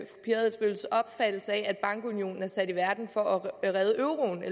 adelsteens opfattelse af at bankunionen er sat i verden for at redde